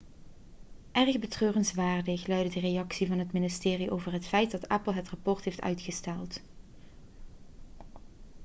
erg betreurenswaardig' luidde de reactie van het ministerie over het feit dat apple het rapport heeft uitgesteld